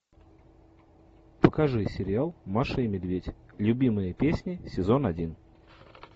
покажи сериал маша и медведь любимые песни сезон один